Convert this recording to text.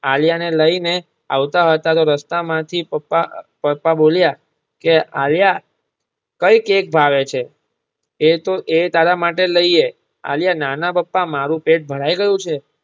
આલિયા ને લઈ ને આવતા હતા તો રસ્તામાંથી પપ્પા પપ્પા બોલ્યા કે આલિયા કઈ કેક ભાવે છે કે તો એ તારા માટે લઈએ. આલિયા ના ના પપ્પા મારુ પેટ ભરાઈ ગયું છે